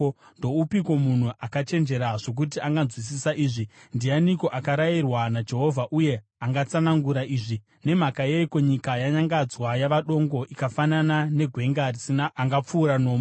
Ndoupiko munhu akachenjera zvokuti anganzwisisa izvi? Ndianiko akarayirwa naJehovha uye angatsanangura izvi? Nemhaka yeiko nyika yanyangadzwa yava dongo ikafanana negwenga risina angapfuura nomo?